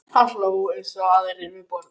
Hann hló eins og aðrir við borðið.